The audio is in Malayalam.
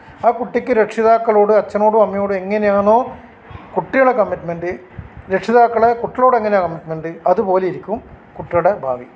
ആ കുട്ടിക്ക് രക്ഷിതാക്കളൊട് അച്ഛനോടും അമ്മയോടും എങ്ങിനെയാണോ കുട്ടികളുടെ കമ്മിറ്റ്മെന്റ് രക്ഷിതാക്കളെ കുട്ടികളോട് എങ്ങിനെ കമ്മിറ്റ്മെന്റ് അതുപോലെ ഇരിക്കും കുട്ടികളുടെ ഭാവി